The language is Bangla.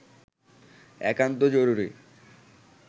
একান্ত জরুরি